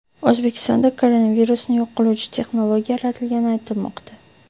O‘zbekistonda koronavirusni yo‘q qiluvchi texnologiya yaratilgani aytilmoqda.